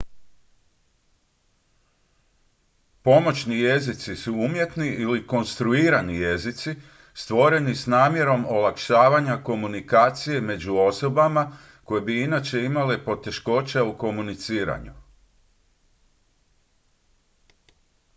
pomoćni jezici su umjetni ili konstruirani jezici stvoreni s namjerom olakšavanja komunikacije među osobama koje bi inače imale poteškoća u komuniciranju